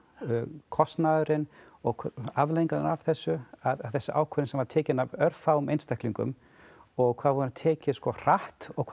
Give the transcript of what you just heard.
kostnaðurinn og afleiðingar af þessu að þessi ákvörðun sem var tekin af örfáum einstaklingum og hvað hún var tekin hratt og hvað